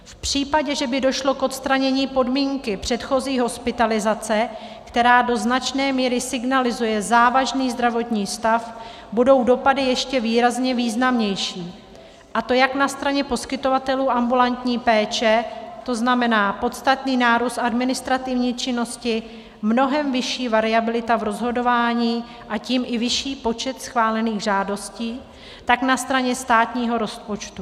V případě, že by došlo k odstranění podmínky předchozí hospitalizace, která do značné míry signalizuje závažný zdravotní stav, budou dopady ještě výrazně významnější, a to jak na straně poskytovatelů ambulantní péče, to znamená podstatný nárůst administrativní činnosti, mnohem vyšší variabilita v rozhodování, a tím i vyšší počet schválených žádostí, tak na straně státního rozpočtu.